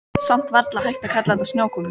Samt varla hægt að kalla þetta snjókomu.